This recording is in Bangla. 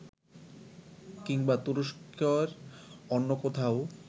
কিংবা তুরস্কের অন্য কোথাও